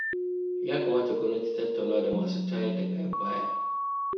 Ya kamata gwamnati ta tattauna da masu tayar da ƙayar baya.